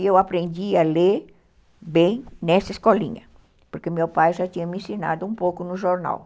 E eu aprendi a ler bem nessa escolinha, porque meu pai já tinha me ensinado um pouco no jornal.